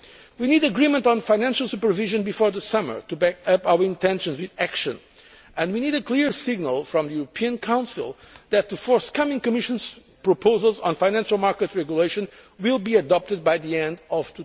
We need agreement on financial supervision before the summer to back up our intentions with action, and we need a clear signal from the European Council that the Commission's forthcoming proposals on financial market regulation will be adopted by the end of